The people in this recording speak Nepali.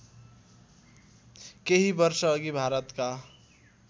केही वर्षअघि भारतका